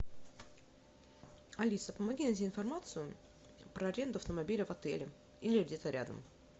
алиса помоги найти информацию про аренду автомобиля в отеле или где то рядом